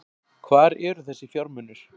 Hvar eru þessir fjármunir